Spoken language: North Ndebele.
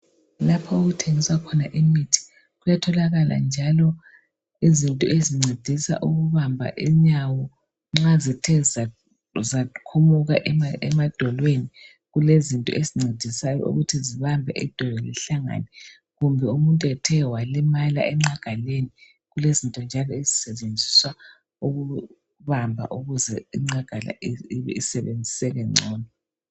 Lapho okuthengiswa khona imithi kuyatholakala njalo izinto ezincedisa ukubamba inyawo nxa zithe zakhumuka Emadolweni kulezinto ezincedisa ukuthi idolo lihlangane. Nxa umuntu ethe walimala engqagaleni, zikhona izinto zokubamba ukuthi ingqagala isebenziseke ngcono.